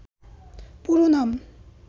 পুরো নাম